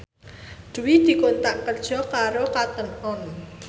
Dwi dikontrak kerja karo Cotton On